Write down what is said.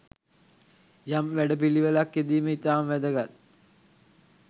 යම් වැඩපිළිවෙළක්‌ යෙදීම ඉතාම වැදගත්